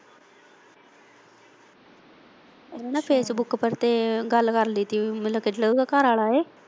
ਉੰਨੇ ਨਾ facebook ਪਰ ਤੇ ਗੱਲ ਕਰ ਲਈ ਸੀ ਕਿ ਮਤਲਬ ਜਿਹੜਾ ਉਹਦਾ ਘਰਵਾਲਾ ਏ।